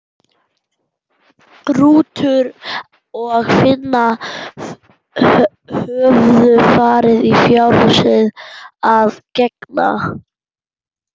Rútur og Finna höfðu farið í fjárhúsið að gegna.